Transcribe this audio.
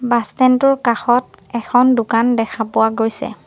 Bus stand টোৰ কাষত এখন দোকান দেখা পোৱা গৈছে।